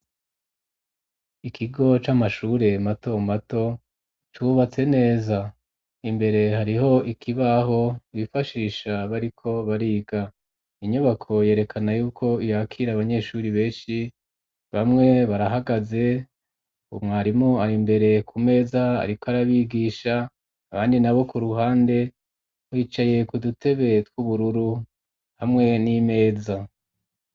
Ikigo c'amashure mato mato cubatse neza imbere hariho ikibaho bifashisha bariko bariga inyubako yerekana yuko iyakire abanyeshuri benshi bamwe barahagaze u mwarimu ari mbere ku meza ariko arabigisha abandi na bo ku ruhande bicaye ku dutebe tw ubururu hamwe n'imeza.